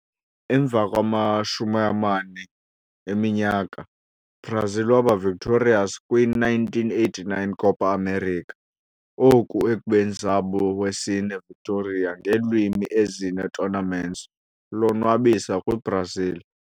Emva 40 eminyaka, Brazil waba victorious kwi - 1989 Copa América, oku ekubeni zabo wesine victory ngeelwimi ezine tournaments lonwabisa kwi-Brazil.